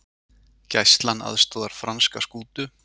Gæslan aðstoðar franska skútu